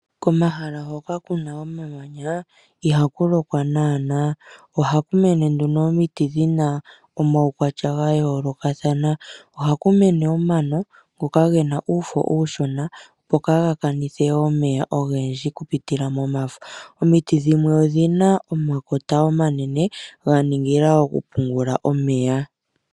Komahala hoka kuna omamanya ihaku lokwa naanaa. Ohaku mene nduno omiti dhina omaukwatya ga yoolokathana. Ohaku mene omano ngoka gena uufo uushona opo kaaga kanithe omeya ogendji oku pitila momafo . Omiti dhimwe odhina omakota omanene dha ningila oku pungula omeya.